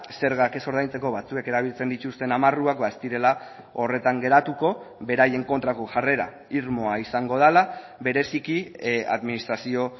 zergak ez ordaintzeko batzuek erabiltzen dituzten amarruak ez direla horretan geratuko beraien kontrako jarrera irmoa izango dela bereziki administrazio